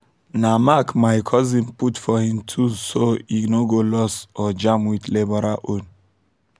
na mark my cousin put for him tools so e no go lost or jam with labourer own